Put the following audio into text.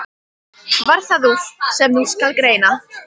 Varð það úr, sem nú skal greina.